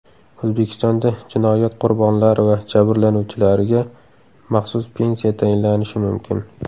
O‘zbekistonda jinoyat qurbonlari va jabrlanuvchilariga maxsus pensiya tayinlanishi mumkin.